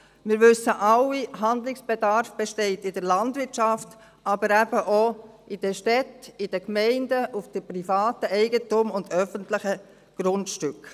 Wir wissen alle, Handlungsbedarf besteht in der Landwirtschaft, aber eben auch in den Städten, in den Gemeinden, auf den privaten Eigentümern und öffentlichen Grundstücken.